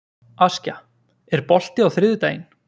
Askja, er bolti á þriðjudaginn?